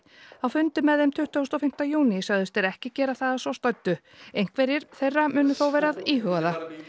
á fundi með þeim tuttugasta og fimmta júní sögðust þeir ekki gera það að svo stöddu einhverjir þeirra munu þó vera að íhuga það